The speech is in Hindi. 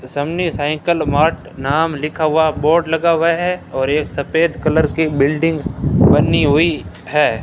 सामने साइकिल मार्ट लिखा हुआ बोर्ड लगा हुआ है और एक सफेद कलर की बिल्डिंग बनी हुई है।